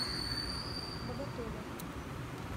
боготоле